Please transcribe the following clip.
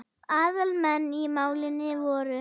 Aðal menn í málinu voru